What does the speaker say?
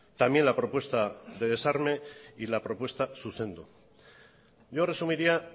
también la propuesta de desarme y la propuesta zuzendu yo resumiría